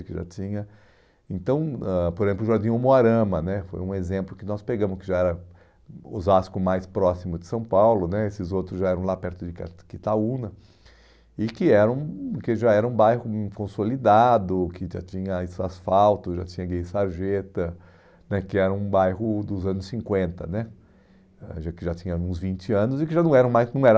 que já tinha... Então, ãh por exemplo, o Jardim Omoarama né, foi um exemplo que nós pegamos, que já era o Osasco mais próximo de São Paulo né, esses outros já eram lá perto de Itaúna, e que era um, que já era um bairro hum consolidado, que já tinha asfalto, já tinha guia e sarjeta, né que era um bairro dos anos cinquenta né, que já tinha uns vinte anos e que já não era mais, não era